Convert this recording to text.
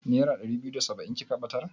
Nera ɗari biyu da saba'in kika ɓatar?